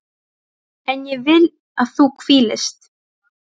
En ég vil að þú hvílist.